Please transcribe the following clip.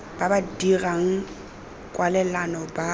ba ba dirang kwalelano ba